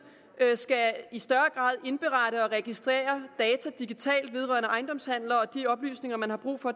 i større omfang indberette og registrere data digitalt vedrørende ejendomshandler og de oplysninger man har brug for